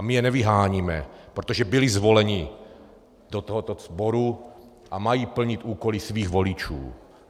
A my je nevyháníme, protože byli zvoleni do tohoto sboru a mají plnit úkoly svých voličů.